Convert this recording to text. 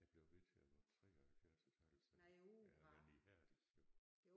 Jeg blev ved til jeg var 73 et halvt jamen ihærdigt jo